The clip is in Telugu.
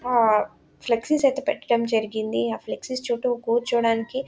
ఆహ్ ఫ్లెక్సీస్ ఐతే పెట్టటం జరిగింది. ఆహ్ ఫ్లెక్స్ చుట్టూ కూర్చోడానికి--